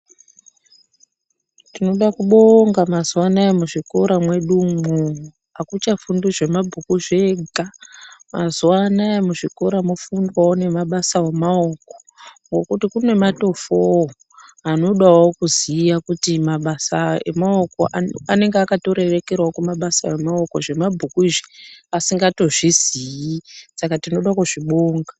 Tinoda kubonga mazuwa anaa muzvikora mwedu umwo akuchafundwi zvemabhuku zvega mazuwa anaa muzvikora mofundwawo nemabasa emaoko ngokuti kune matofowo anodawo kuziya kuti anenge akatorerekerawo kumabasa emaoko zvemabhuku izvi asingatozvizii saka tinoda kuzvibonga.